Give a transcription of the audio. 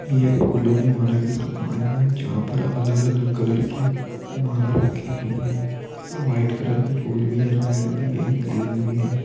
ये एक फूलों की माला की दुकान है यहां पर अलग अलग कलर की माला रखी हुई है वाइट कलर के फूल भी है रेड भी है ग्रीन भी है।